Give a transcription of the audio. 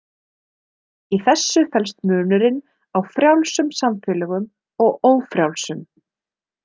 Í þessu felst munurinn á frjálsum samfélögum og ófrjálsum.